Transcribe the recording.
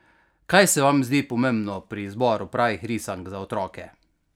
Kaj se vam zdi pomembno pri izboru pravih risank za otroke?